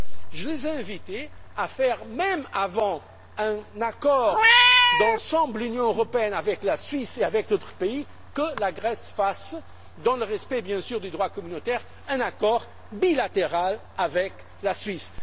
Je les ai invités à faire en sorte avant même un accord d'ensemble de l'Union européenne avec la Suisse, et avec d'autres pays que la Grèce fasse, dans le respect bien sûr du droit communautaire, un accord bilatéral avec la Suisse.